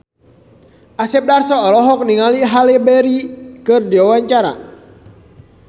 Asep Darso olohok ningali Halle Berry keur diwawancara